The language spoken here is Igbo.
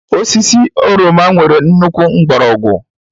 Osisi oroma nwere nnukwu mgbọrọgwụ